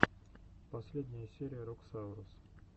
первая серия роксаурус